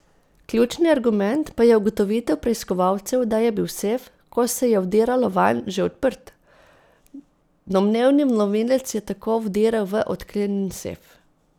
Ključni argument pa je ugotovitev preiskovalcev, da je bil sef, ko se je vdiralo vanj, že odprt, domnevni vlomilec je tako vdiral v odklenjen sef.